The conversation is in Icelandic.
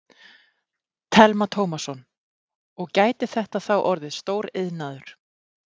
Telma Tómasson: Og gæti þetta þá orðið stór iðnaður?